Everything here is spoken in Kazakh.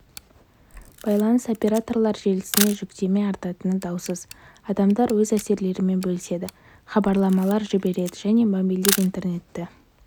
байланыс операторлар желісіне жүктеме артатыны даусыз адамдар өз әсерлерімен бөліседі хабарламалар жібереді және мобильдік интернетті